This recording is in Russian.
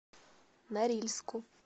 норильску